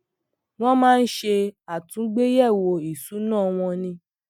wọn máa ń ṣe àtúngbéyẹwo ìṣúná wọn ní